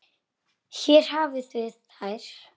Hér hafið þið þær.